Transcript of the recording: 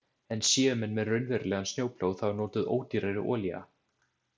En séu menn með raunverulegan snjóplóg þá er notuð ódýrari olía.